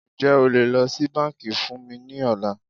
Ǹjẹ́ o lè lọ sí bánkì fún mí ní ọ̀la?